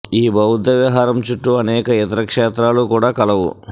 ఈ బౌద్ధ విహారం చుట్టూ అనేక ఇతర క్షేత్రాలు కూడా కలవు